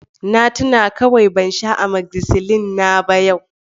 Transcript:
Na tuna kawai ban sha amozicillin na ba yau